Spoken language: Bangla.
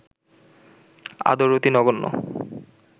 আদর অতি নগণ্য